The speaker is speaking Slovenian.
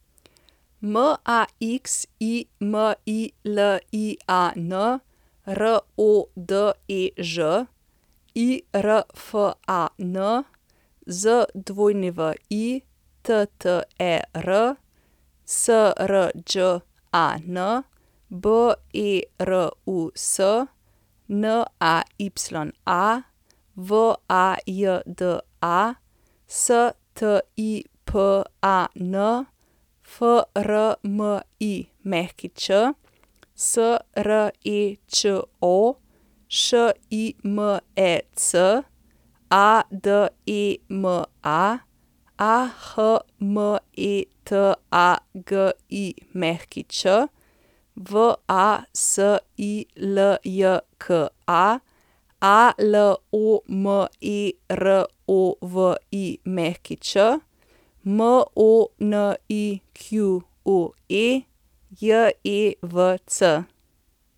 Maximilian Rodež, Irfan Zwitter, Srđan Berus, Naya Vajda, Stipan Frmić, Srečo Šimec, Adema Ahmetagić, Vasiljka Alomerović, Monique Jevc.